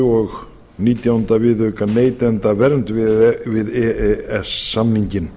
og nítjánda viðauka við e e s samninginn